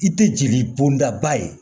I tɛ jeli bɔnda ye